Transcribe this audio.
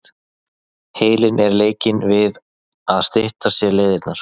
Heilinn er leikinn við að stytta sér leiðirnar.